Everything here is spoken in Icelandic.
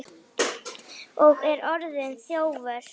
Ég er orðinn þjófur.